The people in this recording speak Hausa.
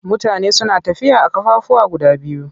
Mutane suna tafiya a kan ƙafafuwa guda biyu.